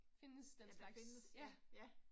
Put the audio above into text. At det findes, ja ja